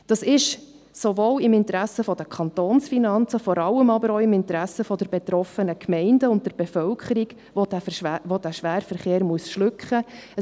Das ist sowohl im Interesse der Kantonsfinanzen als vor allem auch im Interesse der betroffenen Gemeinden und der Bevölkerung, die den Schwerverkehr schlucken muss.